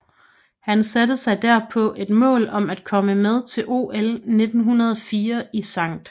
Han satte sig derpå et mål om at komme med til OL 1904 i St